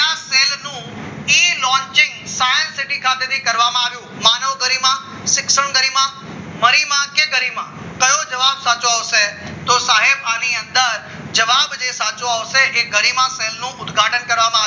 એ launching science city ખાતેથી કરવામાં આવ્યું માનવ ગરિમા શિક્ષણ કરીમાં કે ગરિમા કયો જવાબ સાચો આવશે તો સાહેબ આની અંદર જવાબ જે સાચો આવશે એ ગરિમા પહેલું ઉદઘાટન કરવામાં